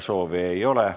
Soove ei ole.